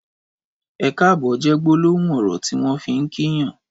Ẹkáàbọ̀ jè gbólóhún ọrọ tiwọn fi n kí yàn